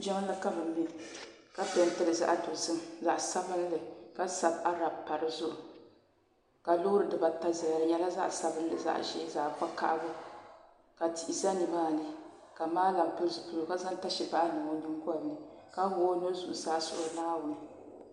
jiŋli ka bɛ mɛ ka pentili zaɣa dozim zaɣa sabinli ka sabi arab pa dizuɣu ka loori dibaata zaya di nyɛla zaɣa sabinli zaɣa ʒee zaɣa vakahali ka tihi za nimaani ka maalam pili zipiligu ka zaŋ tasibaha niŋ o. yingolini la wuɣi o nuhi zuɣusaa suhiri naawuni.